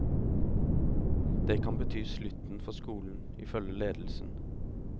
Det kan bety slutten for skolen, ifølge ledelsen.